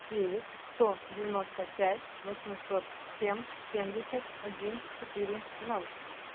девять сто девяносто пять восемьсот семь семьдесят один четыре ноль